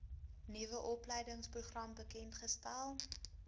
nuwe opleidingsprogram bekendgestel